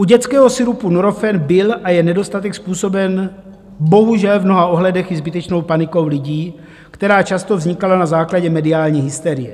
U dětského sirupu Nurofen byl a je nedostatek způsoben bohužel v mnoha ohledech i zbytečnou panikou lidí, která často vznikala na základě mediální hysterie.